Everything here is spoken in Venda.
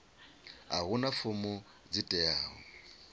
a huna fomo dzi teaho